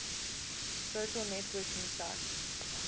social networking sites